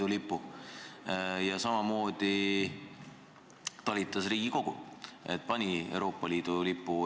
Ka riigisekretär juhtis omal ajal tähelepanu sellele, et riigi institutsioonid võiksid panna Eesti lipule lisaks välja ka Euroopa Liidu lipu.